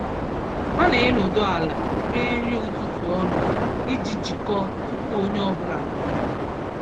Ha na-enọdụ ala rie nri ụtụtụ ọnụ iji jikọọ tupu onye ọ bụla apụọ.